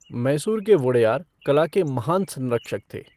मैसूर के वोडेयार कला के महान संरक्षक थे।